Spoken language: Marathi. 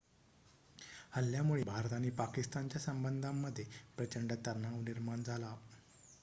हल्ल्यामुळे भारत आणि पाकिस्तानच्या संबंधांमध्ये प्रचंड तणाव निर्माण झाला